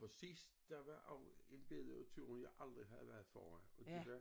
Og sidst der var også bedre tur jeg aldrig havde været foran fordi der